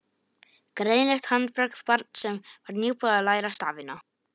Greinilegt handbragð barns sem var nýbúið að læra stafina.